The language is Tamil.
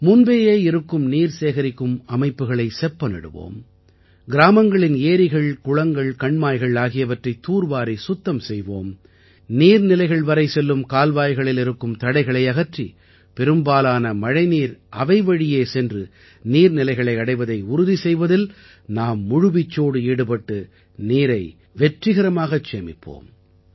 முன்பேயே இருக்கும் நீர் சேகரிக்கும் அமைப்புகளை செப்பனிடுவோம் கிராமங்களின் ஏரிகள் குளங்கள் கண்மாய்கள் ஆகியவற்றைத் தூர்வாரி சுத்தம் செய்வோம் நீர்நிலைகள் வரை செல்லும் கால்வாய்களில் இருக்கும் தடைகளை அகற்றி பெரும்பாலான மழைநீர் அவைவழியே சென்று நீர்நிலைகளை அடைவதை உறுதி செய்வதில் நாம் முழுவீச்சோடு ஈடுபட்டு நீரை வெற்றிகரமாகச் சேமிப்போம்